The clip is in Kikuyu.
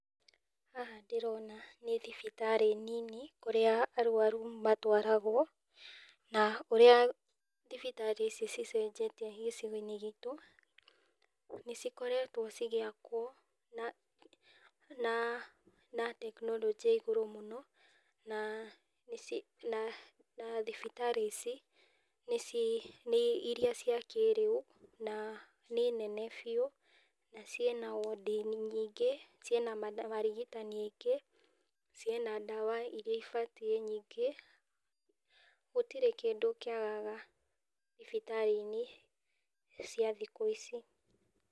Haha ndĩrona nĩ thibitarĩ nini ,kũrĩa arwaru matwaragwo, na ũrĩa thibitarĩ ici ci cenjetie gĩcigo-inĩ gitũ, nĩ cikoretwo cigĩakwo na na tekinoronjĩ ya igũrũ mũno, na nĩ ci, na thibitarĩ ici nĩ ci, nĩ iria cia kĩrĩu, na nĩ nene biũ, na cina wondi nyingĩ, cina marigitani aingĩ , ciĩna ndawa iria ibatiĩ nyingi, gũtirĩ kĩndũ kĩagaga thibitari-inĩ cia thikũ ici.